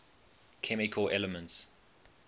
chemical elements